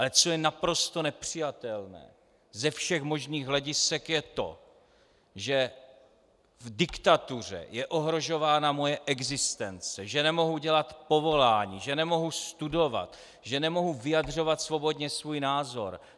Ale co je naprosto nepřijatelné ze všech možných hledisek, je to, že v diktatuře je ohrožována moje existence, že nemohu dělat povolání, že nemohu studovat, že nemohu vyjadřovat svobodně svůj názor.